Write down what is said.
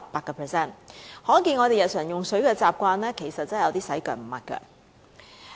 由此可見，我們日常的用水習慣真的有點"洗腳唔抹腳"。